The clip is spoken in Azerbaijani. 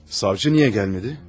Savcı niyə gəlmədi?